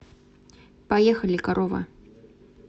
поехали корова